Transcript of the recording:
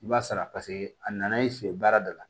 I b'a sara paseke a nana i fɛ yen baara dɔ la